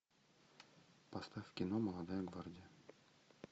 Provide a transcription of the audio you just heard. поставь кино молодая гвардия